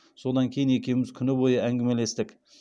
содан кейін екеуіміз күні бойы әңгімелестік